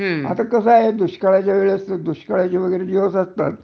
आता कस दुकाळाच्या वेळेस दुष्काळाचे दिवस असतात